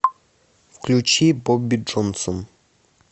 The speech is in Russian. включи бобби джонсон